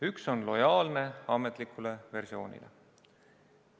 Üks on lojaalne ametlikule versioonile.